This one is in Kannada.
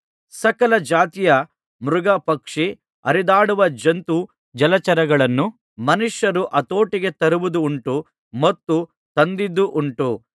ಸಕಲ ಜಾತಿಯ ಮೃಗ ಪಕ್ಷಿ ಹರಿದಾಡುವ ಜಂತು ಜಲಚರಗಳನ್ನೂ ಮನುಷ್ಯರು ಹತೋಟಿಗೆ ತರುವುದುಂಟು ಮತ್ತು ತಂದದ್ದುಂಟು